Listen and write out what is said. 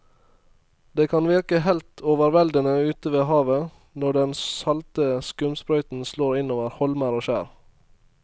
Det kan virke helt overveldende ute ved havet når den salte skumsprøyten slår innover holmer og skjær.